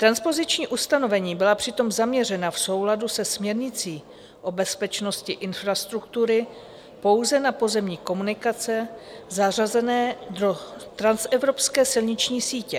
Transpoziční ustanovení byla přitom zaměřena v souladu se směrnicí o bezpečnosti infrastruktury pouze na pozemní komunikace zařazené do transevropské silniční sítě.